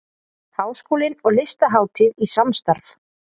Háskólinn og Listahátíð í samstarf